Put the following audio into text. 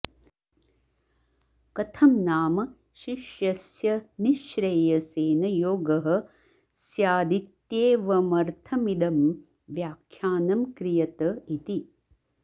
कथं नाम शिष्यस्य निःश्रेयसेन योगः स्यादित्येवमर्थमिदं व्याख्यानं क्रियत इति